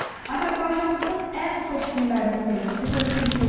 Azərbaycanımızın ən xoş günlərinin sevincini bölüşmüşük.